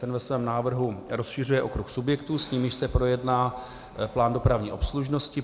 Ten ve svém návrhu rozšiřuje okruh subjektů, s nimiž se projedná plán dopravní obslužnosti.